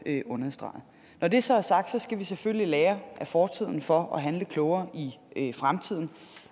understreget når det så er sagt skal vi selvfølgelig lære af fortiden for at handle klogere i fremtiden